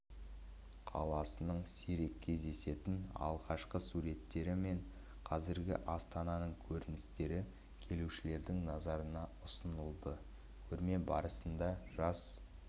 қаласының сирек кездесетін алғашқы суреттері мен қазіргі астананың көріністері келушілердің назарына ұсынылды көрме барысында жас